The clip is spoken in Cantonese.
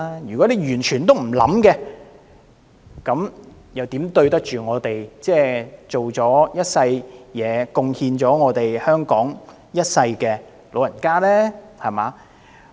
如果當局完全不作考慮，又怎對得起這些辛勞一世貢獻香港的老人家呢？